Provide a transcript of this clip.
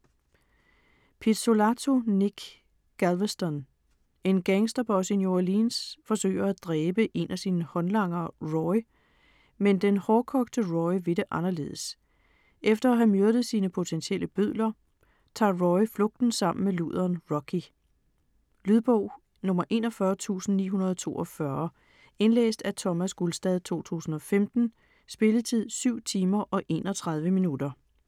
Pizzolatto, Nic: Galveston En gangsterboss i New Orleans forsøger at dræbe en af sine håndlangere Roy, men den hårdkogte Roy vil det anderledes. Efter at have myrdet sine potentielle bødler, tager Roy flugten sammen med luderen Rocky. Lydbog 41942 Indlæst af Thomas Gulstad, 2015. Spilletid: 7 timer, 31 minutter.